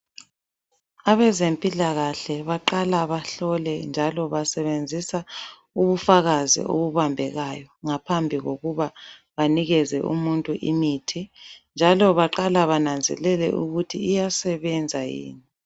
Abezempilakahle baqala bahlole njalo basebenzisa ubufakazi obubambekayo ngaphambi kokuba banikeze umuntu imithi, njalo baqala bananzelele ukuthi iyasebenza yini.